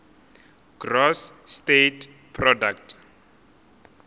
gross state product